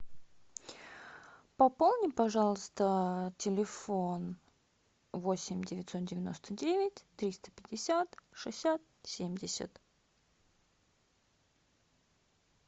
пополни пожалуйста телефон восемь девятьсот девяносто девять триста пятьдесят шестьдесят семьдесят